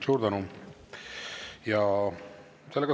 Suur tänu!